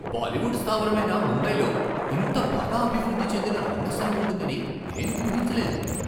బాలీవుడ్ స్థావరమైన ముంబైలో ఇంత బాగా అభివృద్ధి చెందిన రంగస్థలం ఉంటుందని నేను ఊహించలేదు.